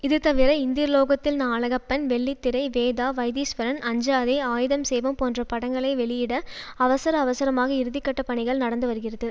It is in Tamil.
இதுதவிர இந்திரலோகத்தில் நா அழகப்பன் வெள்ளித்திரை வேதா வைத்தீஸ்வரன் அஞ்சாதே ஆயுதம் செய்வோம் போன்ற படங்களை வெளியிட அவசர அவசரமாக இறுதிக்கட்ட பணிகள் நடந்துவருகிறது